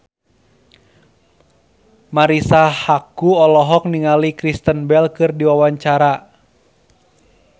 Marisa Haque olohok ningali Kristen Bell keur diwawancara